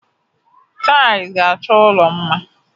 Taịlị ga-achọ ala mma.